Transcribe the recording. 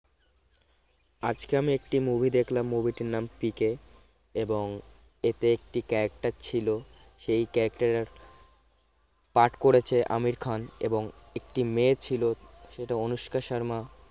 আজকে আমি একটি movie দেখলাম movie টির নাম পিকে এবং এতে একটি character ছিল সেই character এর পাঠ করেছে আমির খান এবং একটি মেয়ে ছিল সেটি অনুষ্কা শর্মা